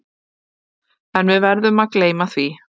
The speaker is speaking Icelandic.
En við verðum að gleyma því.